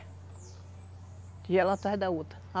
Tigela atrás da outra.